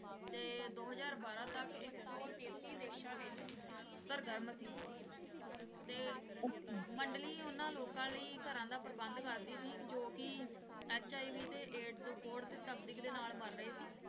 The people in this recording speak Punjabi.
ਤੇ ਦੋ ਹਜ਼ਾਰ ਬਾਰਾਂ ਤੱਕ ਇੱਕ ਸੌ ਤੇਤੀ ਦੇਸ਼ਾਂ ਵਿਚ ਸਰਗਰਮ ਸੀ ਤੇ ਮੰਡਲੀ ਓਹਨਾ ਲੋਕਾਂ ਲਈ ਘਰਾਂ ਦਾ ਪ੍ਰਬੰਧ ਕਰਦੀ ਸੀ ਜੋ ਕਿ HIV ਤੇ AIDS ਕੋਹੜ ਤੇ ਤਪਦਿਕ ਨਾਲ ਮਰ ਰਹੇ ਸੀ